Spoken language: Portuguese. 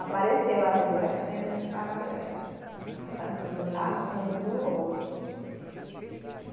Apareceu as duas fendas paralelas, tanto de um lado como do outro.